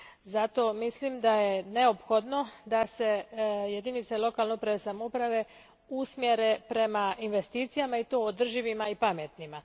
Zato mislim da je neophodno da se jedinice lokalne uprave i samouprave usmjere prema investicijama i to održivima i pametnima.